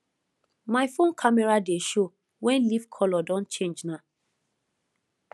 my phone camera dey show when leaf color don change na